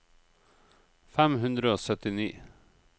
fem hundre og syttini